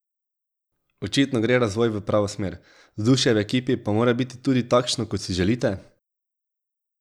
Očitno gre razvoj v pravo smer, vzdušje v ekipi pa mora biti tudi takšno, kot si želite?